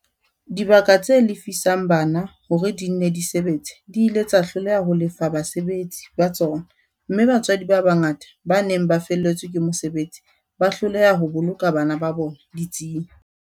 Dibaka tse lefisang bana hore di nne di sebetse di ile tsa hloleha ho lefa basebetsi ba tsona mme batswadi ba bangata ba neng ba felletswe ke mosebetsi ba hloleha ho boloka bana ba bona ditsing.